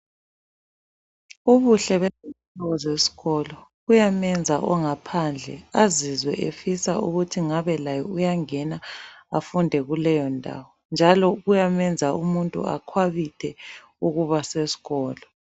Ubuhle bezakhiwo zesikolo buyamenza ongaphandle azizwe efisa ukuthi ngabe laye uyangena afunde kuleyondawo njalo kuyamenza umuntu akhwabithe ukuba sesikolo.